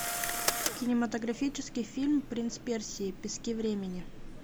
кинематографический фильм принц персии пески времени